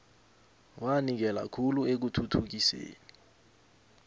wanikela khulu ekuthuthukiseni